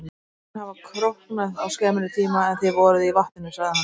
Menn hafa króknað á skemmri tíma en þið voruð í vatninu, sagði hann.